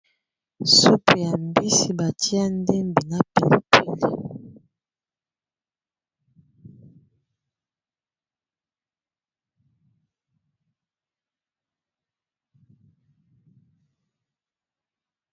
Supu ya mbisi batia ndembi na pilipili.